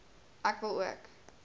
ek wil ook